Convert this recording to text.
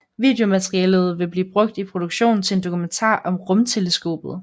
Videomaterialet vil blive brugt i produktionen til en dokumentar om rumteleskopet